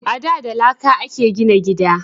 A da da laƙa a ke gina gida